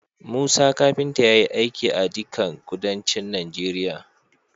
Musa kafinta yayi aiki a dikan kuduncin Nigeria